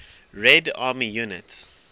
red army units